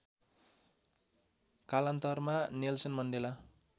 कालान्तरमा Nelson Mandela